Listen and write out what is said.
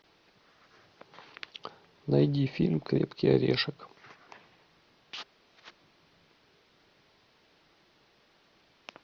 найди фильм крепкий орешек